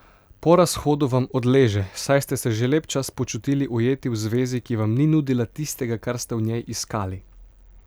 Po razhodu vam odleže, saj ste se že lep čas počutili ujeti v zvezi, ki vam ni nudila tistega, kar ste v njej iskali.